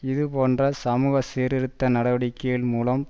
இது போன்ற சமூக சீர்திருத்த நடவடிக்கைகள் மூலம்